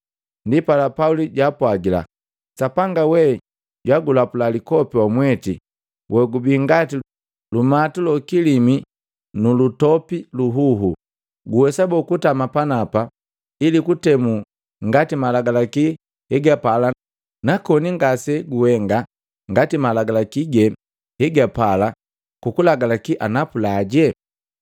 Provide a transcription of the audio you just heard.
Ndipala Pauli jaapwagila, “Sapanga we jwagulapula likopi wamweti wogubi ngati lumatu lokilimi nulutopi luhuhu! Guwesa boo kutama panapa ili kutemula ngati malagalaki hegapala na koni ngase guhenga ngati malagalaki ge hegapala kukulagalaki anapula?”